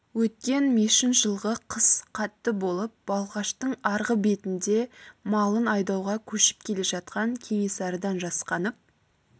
өткен мешін жылғы қыс қатты болып балқаштың арғы бетінде малын айдауға көшіп келе жатқан кенесарыдан жасқанып